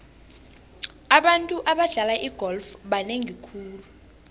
abantu abadlala igolf banengi khulu